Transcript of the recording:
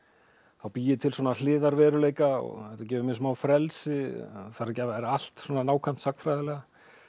þá bý ég til svona hliðarveruleika og þetta gefur mér smá frelsi þarf ekki að vera allt svona nákvæmt sagnfræðilega